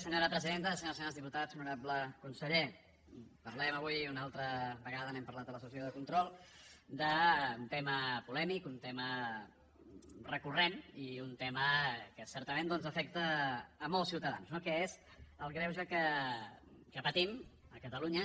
senyores i senyors diputats honorable conseller parlem avui una altra vegada n’hem parlat a la sessió de control d’un tema polèmic un tema recurrent i un tema que certament doncs afecta molts ciutadans que és el greuge que patim a catalunya